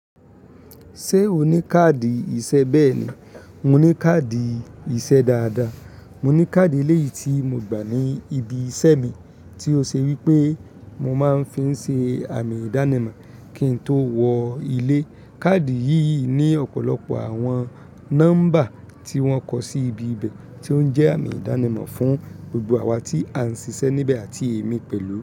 Ṣé o ní káàdì ìṣe? Bẹ́ẹ̀ ni, mo ní káàdì ìṣe dáadáa. Mo ní káàdì eléyìí tí mo gbà ní ibi iṣẹ́ mi tí ó ṣe wí pé mo máa ń fi ń ṣe àmì ìdánimọ̀ kí n tó wọ ilé. Kaadi yìí ní ọ̀pọ̀lọpọ̀ àwọn nọ́mbà tí wọ́n kọ sí ibi bẹ̀ tí ó ń jẹ́ àmì ìdánimọ̀ fún gbogbo àwa tí a ń ṣiṣẹ́ níbẹ̀ àti èmi pẹ̀lú.